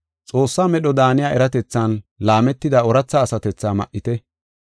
Xoossaa medho daaniya, eratethan laametida ooratha asatethaa ma7ite.